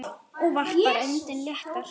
Og varpar öndinni léttar.